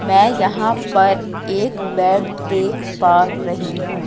मैं यहां पर एक बेड देख पा रही हूं।